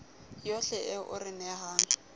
yohle eo o re nehang